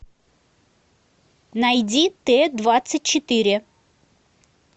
найди т двадцать четыре